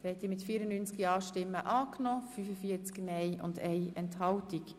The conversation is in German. Der Grosse Rat hat Ziffer 3 der Motion ange nommen.